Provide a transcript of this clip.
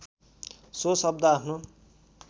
so शब्द आफ्नो